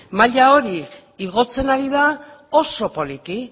maila hori igotzen ari da oso poliki